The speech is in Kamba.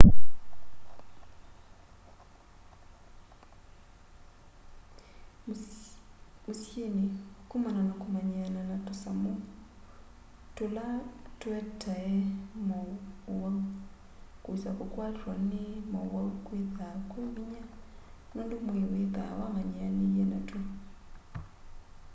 mũsyĩnĩ kũmana na kũmanyĩana na tũsamũ tũla tũetae ma ũwaũ kwĩsa kũkwatwa nĩ maũwaũ kwĩthaa kwĩ vĩnya nũndũ mwĩĩ wĩthaa wamanyĩanĩĩe natwo